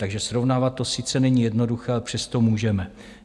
Takže srovnávat to sice není jednoduché, ale přesto můžeme.